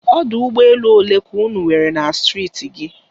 Ọdụ ụgbọ elu olee ka unu nwere na Steeti gị?